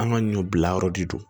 An ka ɲɔ bila yɔrɔ de don